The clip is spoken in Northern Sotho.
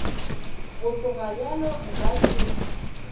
go tloga bjalo nka se